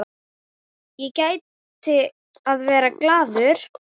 Ég ætti að vera glaður.